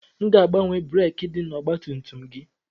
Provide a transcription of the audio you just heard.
Aga m agbanwe breekị dị n'ọgbatumtum gị.